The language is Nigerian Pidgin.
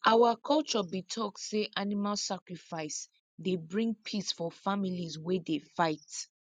our culture be talk say animal sacrifice dey bring peace for families wey dey fight